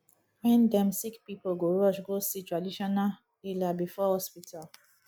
wen dem sick pipo go rush go see traditional healer before hospital